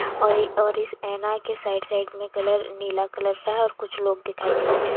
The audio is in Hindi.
और इ और इस ऐना के साइड साइड में कलर नीला कलर का है और कुछ लोग दिखाई दे रहे --